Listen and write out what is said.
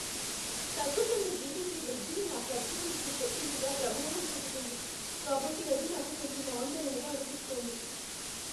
తగ్గుతున్న జిడిపి వృద్ధి నా ఖర్చు చేసే శక్తి మీద ప్రభావం చూపుతుంది కాబట్టి అది నాకు కొంచెం ఆందోళనగా అనిపిస్తోంది.